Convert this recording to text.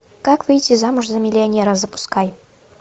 как выйти замуж за миллионера запускай